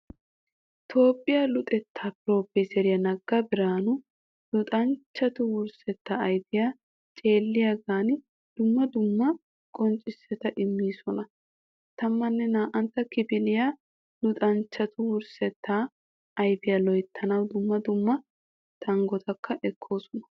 Toophphiya luxettaa piroofeeseriya nagga biraanu luxanchchatu wursetta ayfiya ceelliyagan dumma dumma qonccissota immoosona. 12tta kifiliya luxanchchatu wurssetta ayfiya loyttanawu dumma dumma tanggotakka ekkoosona.